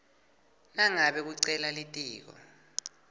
nangabe kucela litiko